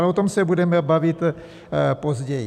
Ale o tom se budeme bavit později.